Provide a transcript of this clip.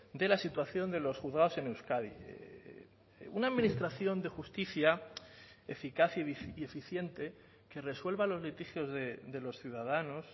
de la situación de los juzgados en euskadi una administración de justicia eficaz y eficiente que resuelva los litigios de los ciudadanos